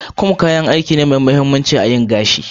"comb" kayan aiki ne Mai mahimmanci a yin gashi